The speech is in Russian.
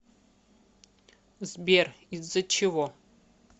сбер из за чего